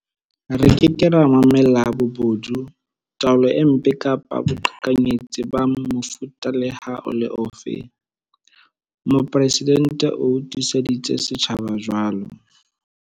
Re ke ke ra mamella bobodu, taolo e mpe kapa boqhekanyetsi ba mofuta le ha e le ofe, Mopresidente o tiiseditse setjhaba jwalo.